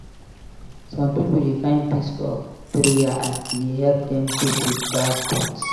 Some pipo dey find peace for prayer as e dey help dem cope with bad thoughts.